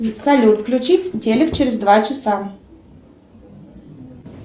салют включить телек через два часа